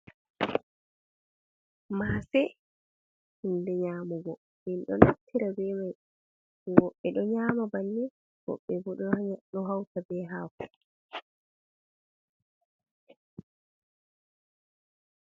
Mase, hunde nyamugo, min ɗo naftira bemai, woɓɓe ɗo nyama bannin, woɓɓe bo ɗo hauta be hako.